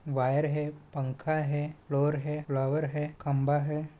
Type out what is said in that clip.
Wire हैं पंखा हैं फ्लोर है फ्लावर है खंभा है।